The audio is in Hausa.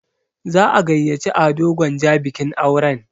Za'a gayyaci Ado Gwanja bikin auren.